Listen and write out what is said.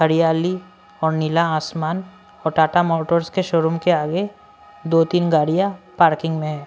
हरियाली और नीला आसमान और टाटा मोटर्स के शोरूम के आगे दो तीन गाड़ियां पार्किंग में है।